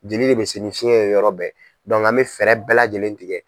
Jeli de bɛ se ni fiyɛn ye yɔrɔ bɛɛ an bɛ fɛɛrɛ bɛɛ lajɛlen tigɛ.